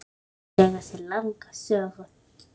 Núðlur eiga sér langa sögu.